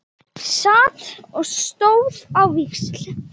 Sat og stóð á víxl.